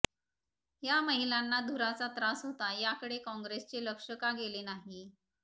या महिलांना धुराचा त्रास होता याकडे काँग्रेसचे लक्ष का गेले नाही